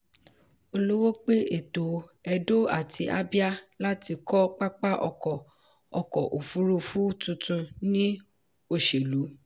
olowo pe ètò edo àti abia láti kọ pápá ọkọ̀ ọkọ̀ òfurufú tuntun ni òṣèlú.